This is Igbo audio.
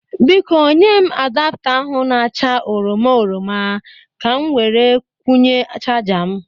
Biko, nye m adapta ahụ na-acha oroma oroma ka m were kwụnye chaja m